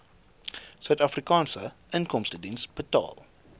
suidafrikaanse inkomstediens betaal